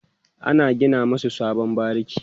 an gina masu sabon bariki